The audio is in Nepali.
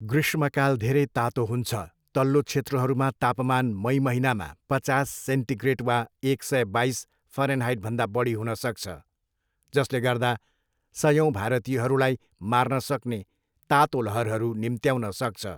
ग्रीष्मकाल धेरै तातो हुन्छ, तल्लो क्षेत्रहरूमा तापमान मई महिनामा पचास सेन्टिग्रेड वा एक सय बाइस फरेनहाइटभन्दा बढी हुन सक्छ, जसले गर्दा सयौँ भारतीयहरूलाई मार्न सक्ने तातो लहरहरू निम्त्याउन सक्छ।